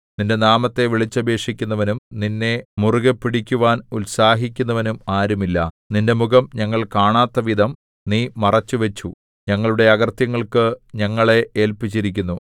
നിന്റെ നാമത്തെ വിളിച്ചപേക്ഷിക്കുന്നവനും നിന്നെ മുറുകെ പിടിക്കുവാൻ ഉത്സാഹിക്കുന്നവനും ആരുമില്ല നിന്റെ മുഖം ഞങ്ങൾ കാണാത്തവിധം നീ മറച്ചുവച്ചു ഞങ്ങളുടെ അകൃത്യങ്ങൾക്കു ഞങ്ങളെ ഏല്പിച്ചിരിക്കുന്നു